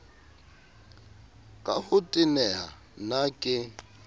ka ho teneha na ke